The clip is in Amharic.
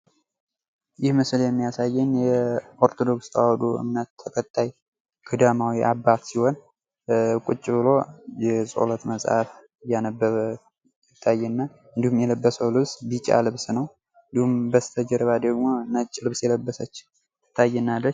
ይህ ምስል የሚያሳየኝ የኦርቶዶክስ ተዋህዶ እምነት ተከታይ ገዳማዊ አባት ሲሆን ቁጭ ብሎ የጸሎት መፅሀፍ እያነበበ ይታይ እና እንዲሁም የለበሰዉ ልብስ ቢጫ ሲሆን በስተጀርባ በኩል ነጭ ልብስ የለበሰች ትታየናለች።